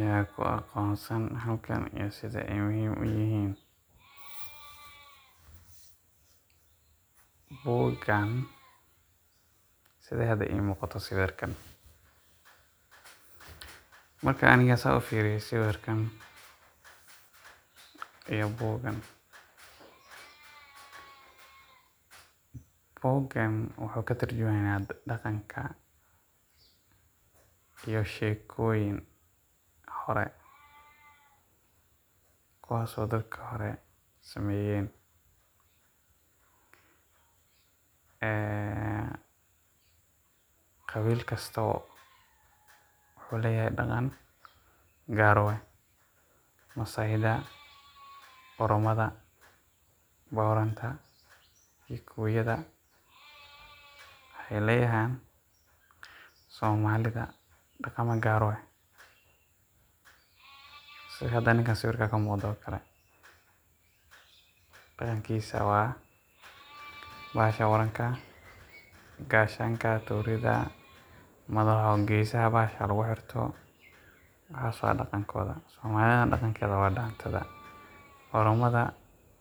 Yaa ku aqoonsan halkan sida ay muhim uyahin? Buugan sida hada imuqata sawirkan, marka aniga sida ufiriyo sawirkan iyo Buugan, Buugan wuxu katarjuma ya daqanka iyo sheekonyin hore. Kuwaas o dadka hora sameyeen. Ee qabil kastaba wuxu leyahay daqan gaar u eeh Massaida da Oromada Boranta kukuyada waxay leeyahan. somalida, daqama gaar u aah sida hada ninka sawirka kamuqdo okale daqankisa waa bahasha waranka gashanka Torida , madaxo o bashasha gesaha lagu xeerto waxas wa daqan kooda. Somalida daqankeda wa Dantada. Oromada